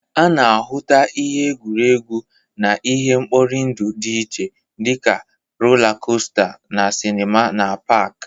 A na-ahụta ihe egwuregwu na ihe nkpọrị ndụ dị iche dị ka rola kosta, na sinima na pak.